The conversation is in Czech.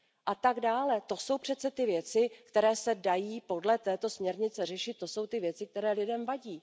a tak dále. To jsou přece ty věci, které se dají podle této směrnice řešit, to jsou ty věci, které lidem vadí.